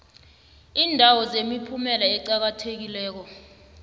iindawo zemiphumela eqakathekileko